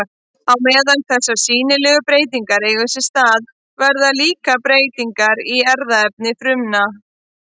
Á meðan þessar sýnilegu breytingar eiga sér stað verða líka breytingar í erfðaefni frumanna.